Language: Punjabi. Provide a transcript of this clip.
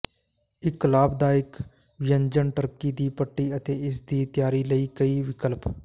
ਇੱਕ ਲਾਭਦਾਇਕ ਵਿਅੰਜਨ ਟਰਕੀ ਦੀ ਪੱਟੀ ਅਤੇ ਇਸ ਦੀ ਤਿਆਰੀ ਲਈ ਕਈ ਵਿਕਲਪ